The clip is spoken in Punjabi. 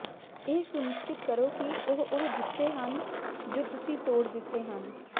ਇਹ ਸੁਨਿਸ਼ਚਿਤ ਕਰੋ ਕਿ ਉਹ ਉਹ ਜੁੱਤੇ ਹਨ ਜੋ ਤੁਸੀਂ ਤੋੜ ਦਿੱਤੇ ਹਨ